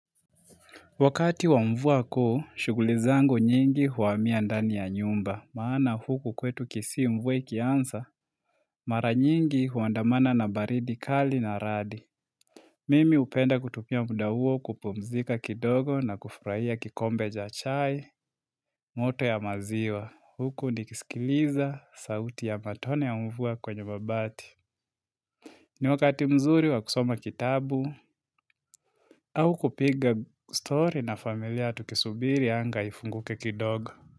Wakati wa mvua kuu, shuguli zangu nyingi huhamia ndani ya nyumba, maana huku kwetu kisii mvua ikianza, mara nyingi huandamana na baridi kali na radi. Mimi hupenda kutumia muda huo kupumzika kidogo na kufurahia kikombe cha chai moto ya maziwa, huku nikisikiliza sauti ya matone ya mvua kwenye mabati. Ni wakati mzuri wakusoma kitabu au kupiga story na familia tukisubiri anga ifunguke kidogo.